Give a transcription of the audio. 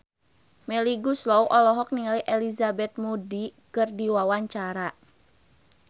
Melly Goeslaw olohok ningali Elizabeth Moody keur diwawancara